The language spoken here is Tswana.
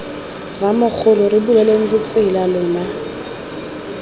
rramogola re buleleng ditsela lona